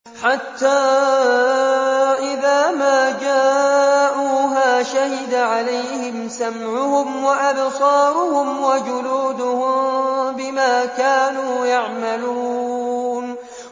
حَتَّىٰ إِذَا مَا جَاءُوهَا شَهِدَ عَلَيْهِمْ سَمْعُهُمْ وَأَبْصَارُهُمْ وَجُلُودُهُم بِمَا كَانُوا يَعْمَلُونَ